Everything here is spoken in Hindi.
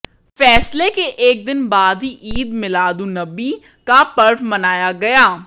फैसले के एक दिन बाद ही ईद मिलादुन्नबी का पर्व मनाया गया